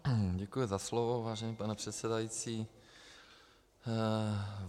Děkuji za slovo, vážený pane předsedající.